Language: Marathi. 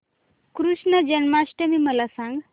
कृष्ण जन्माष्टमी मला सांग